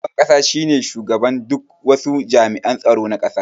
Shugaban ƙasa shine shugaban duk wasu jami'an tsaro na ƙasa